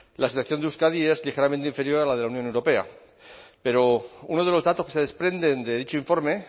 la situación de euskadi es ligeramente inferior a la de la unión europea pero uno de los datos que se desprenden de dicho informe